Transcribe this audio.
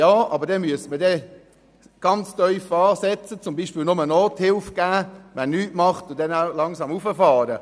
Allerdings müsste man sehr tief ansetzen, indem man jenen, die nichts tun, zum Beispiel nur Nothilfe gewährt, um dann langsam hochzufahren.